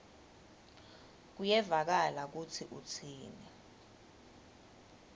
kuyevakala kutsi utsini